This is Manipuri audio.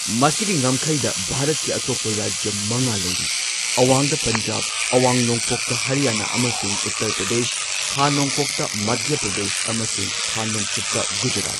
ꯃꯁꯤꯒꯤ ꯉꯝꯈꯩꯗ ꯚꯥꯔꯠꯀꯤ ꯑꯇꯣꯞꯄ ꯔꯥꯖ꯭ꯌ ꯃꯉꯥ ꯂꯩꯔꯤ ꯑꯋꯥꯡꯗ ꯄꯟꯖꯥꯕ, ꯑꯋꯥꯡ ꯅꯣꯡꯄꯣꯛꯇꯥ ꯍꯔꯌꯥꯅꯥ ꯑꯃꯁꯨꯡ ꯎꯠꯇꯔ ꯄ꯭ꯔꯗꯦꯁ, ꯈꯥ ꯅꯣꯡꯄꯣꯛꯇ ꯃꯙ꯭ꯌꯥ ꯄ꯭ꯔꯗꯦꯁ, ꯑꯃꯁꯨꯡ ꯈꯥ ꯅꯣꯡꯆꯨꯞꯇ ꯒꯨꯖꯔꯥꯠ꯫